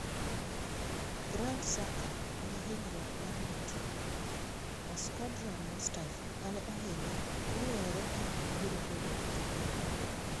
Granit Xhaka nigi hinyruok mar ng'ut to Shkodran Mustafi mane ohinyre ok ong'ere ka obiro bedo e tukego.